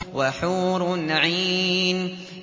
وَحُورٌ عِينٌ